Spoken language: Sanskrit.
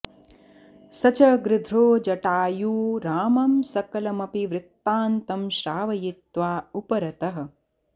स च गृध्रो जटायू रामं सकलमपि वृत्तातं श्रावयित्वा उपरतः